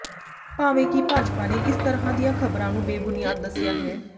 ਭਾਵੇਂ ਕਿ ਭਾਜਪਾ ਨੇ ਇਸ ਤਰ੍ਹਾਂ ਦੀਆਂ ਖ਼ਬਰਾਂ ਨੂੰ ਬੇਬੁਨਿਆਦ ਦੱਸਿਆ ਹੈ